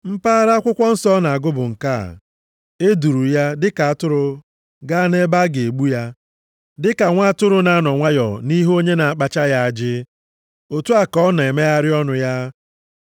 Mpaghara akwụkwọ nsọ ọ na-agụ bụ nke a, “E duuru ya dị ka atụrụ gaa nʼebe a ga-egbu ya. Dịka nwa atụrụ na-anọ nwayọọ nʼihu onye na-akpacha ya ajị, otu a ka ọ na-emegheghị ọnụ ya.